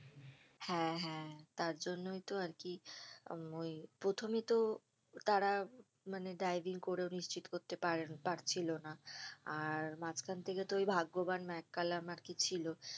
হ্যাঁ হ্যাঁ তার জন্যই তো আরকি আহ ওই প্রথমে তো তারা মানে driving করেও নিশ্চিত করতে পার~ পারছিলো না আর মাঝখান থেকে তো ওই ভাগ্যবান ম্যাককালাম আরকি ছিল